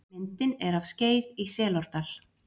Myndin er af Skeið í Selárdal.